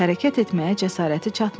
Hərəkət etməyə cəsarəti çatmırdı.